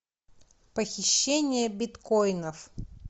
похищение биткоинов